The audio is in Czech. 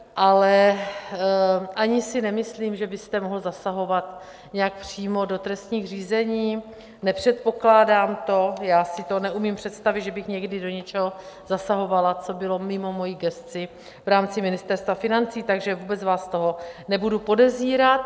Ale ani si nemyslím, že byste mohl zasahovat nějak přímo do trestních řízení, nepředpokládám to, já si to neumím představit, že bych někdy do něčeho zasahovala, co bylo mimo moji gesci v rámci Ministerstva financí, takže vůbec vás z toho nebudu podezírat.